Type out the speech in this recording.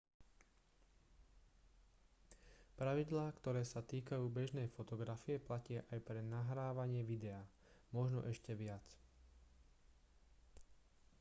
pravidlá ktoré sa týkajú bežnej fotografie platia aj pre nahrávanie videa možno ešte viac